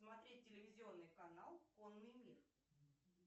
смотреть телевизионный канал конный мир